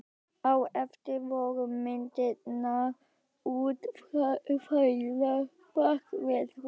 Á eftir voru myndirnar útfærðar bak við hús.